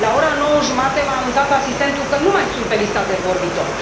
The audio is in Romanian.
La ora nouă jumătate m a anunțat asistentul că nu mai sunt pe lista de vorbitori.